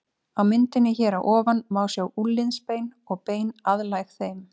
Á myndinni hér að ofan má sjá úlnliðsbein og bein aðlæg þeim.